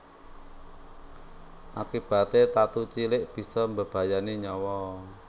Akibaté tatu cilik bisa mbebayani nyawa